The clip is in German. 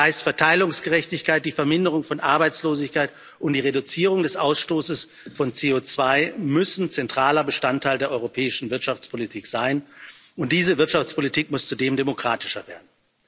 Das heißt, Verteilungsgerechtigkeit, die Verminderung von Arbeitslosigkeit und die Reduzierung des Ausstoßes von CO2 müssen zentraler Bestandteil der europäischen Wirtschaftspolitik sein, und diese Wirtschaftspolitik muss zudem demokratischer werden.